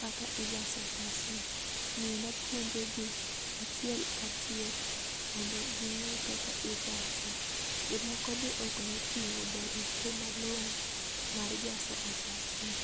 kaka ijaso otas ni omiyo napuonjo gi achiel ka achiel mondo ginge kaka ijase. Jomoko be ok notingo barupe malongo mar jaso otas ni